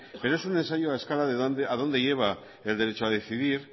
pero es un ensayo a escala de a dónde lleva el derecho a decidir